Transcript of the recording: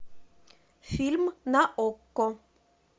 фильм на окко